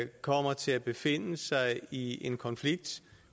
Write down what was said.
kommer til at befinde sig i en konflikt